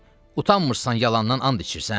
Utanmırsan yalandan and içirsən?